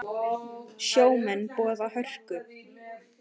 Sjómenn boða hörku